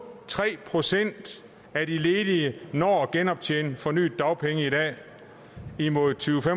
tre procent af de ledige når at genoptjene en fornyet dagpenge i dag imod tyve til